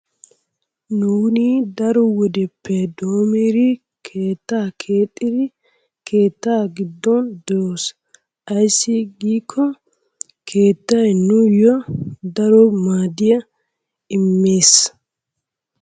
Nuuni daro wodeppe doommiri keettaa keexxiri keettaa giddon doos. Ayssi giikko keettay nuuyo daro maaddiya immees.